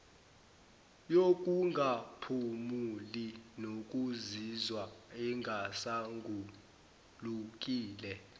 yokungaphumuli nokuzizwa engaswangulukile